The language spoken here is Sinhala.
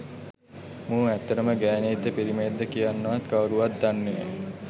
මූ ඇත්තටම ගෑනියෙක්ද පිරිමියෙක්ද කියන්නවත් කවුරුවත් දන්නෙ නෑ